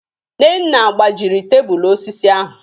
Nnenna gbajịrị tebụlụ osịsị ahụ